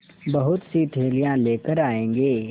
बहुतसी थैलियाँ लेकर आएँगे